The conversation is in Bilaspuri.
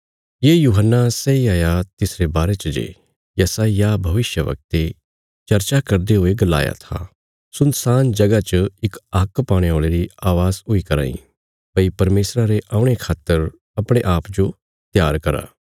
ये यूहन्ना सैई हाया तिसरे बारे च जे यशायाह भविष्यवक्ते चर्चा करदे हुये गलाया था सुनसान जगह च इक हाक पाणे औल़े री अवाज़ हुई कराँ इ भई परमेशरा रे औणे खातर अपणे आप जो त्यार करा